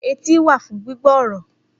Etí wà fún gbígbọ́ ọ̀rọ̀